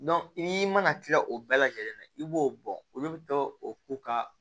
i mana kila o bɛɛ lajɛlen na i b'o bɔ olu bɛ to o ka